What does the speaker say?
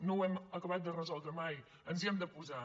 no ho hem acabat de resoldre mai ens hi hem de posar